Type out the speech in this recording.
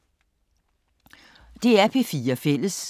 DR P4 Fælles